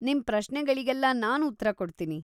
ನಿಮ್‌ ಪ್ರಶ್ನೆಗಳಿಗೆಲ್ಲ ನಾನ್‌ ಉತ್ತರ ಕೊಡ್ತೀನಿ.